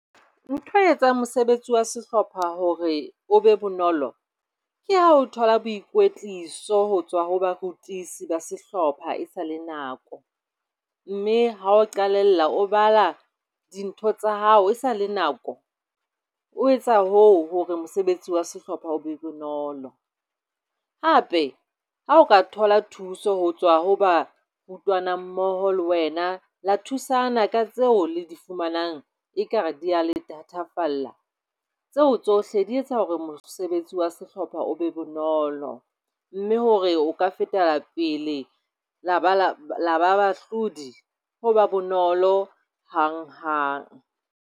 Ntho etsang mosebetsi wa sehlopha hore o be bonolo ke ha o thola boikwetliso ho tswa ho bakwetlisi ba sehlopha e sa le nako. Mme ha o qalella o bala dintho tsa hao e sale nako, o etsa hoo hore mosebetsi wa sehlopha o be bonolo. Hape ha o ka thola thuso ho tswa ho barutwana mmoho le wena la thusana ka tseo le di fumanang ekare di le thatafalla. Tseo tsohle di etsa hore mosebetsi wa sehlopha o be bonolo mme hore o ka fetapele la ba le bahlodi, ho ba bonolo hanghang.